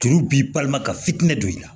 Turu b'i balima ka fitinɛ don i la